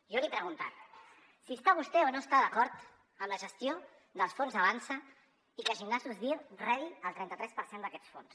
jo li he preguntat si està vostè o no està d’acord amb la gestió dels fons avançsa i que gimnasos dir rebi el trenta tres per cent d’aquests fons